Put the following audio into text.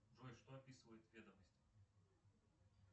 джой что описывает ведомость